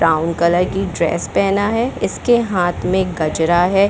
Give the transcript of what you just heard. Brown colour की dress पहना है इसके हाथ में गजरा है।